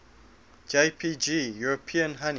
jpg european honey